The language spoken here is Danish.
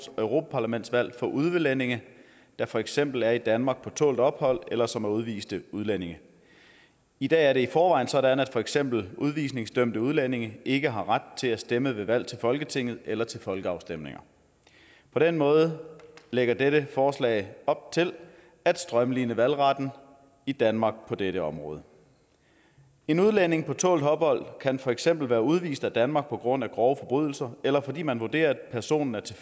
europaparlamentsvalg for udlændinge der for eksempel er i danmark på tålt ophold eller som er udviste udlændinge i dag er det i forvejen sådan at for eksempel udvisningsdømte udlændinge ikke har ret til at stemme ved valg til folketinget eller til folkeafstemninger på den måde lægger dette forslag op til at strømline valgretten i danmark på dette område en udlænding på tålt ophold kan for eksempel være udvist af danmark på grund af grove forbrydelser eller fordi man vurderer at personen er til